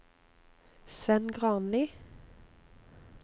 Svend Granli